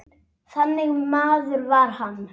Þannig maður var hann.